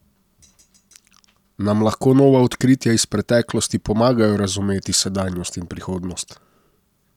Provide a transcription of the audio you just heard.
Nam lahko nova odkritja iz preteklosti pomagajo razumeti sedanjost in prihodnost?